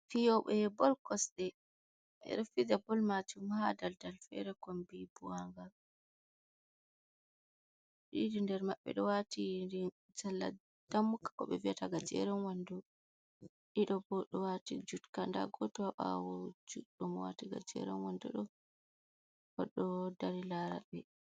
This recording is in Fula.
Fiyobe bol cosde. Beɗo fija bol macum ha daldal fere kombi buwangal. Ɗiɗi nder mabbe do wati salla dammuka ko beviata gajeren wando. Ɗiɗi bo ɗo wati jutka. Nda goto ha bawo juddo mo wati gajeren wando do, odo dari larabe.